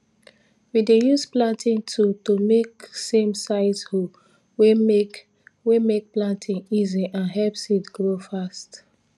we dey use planting tool to make samesize hole wey make wey make planting easy and help seed grow fast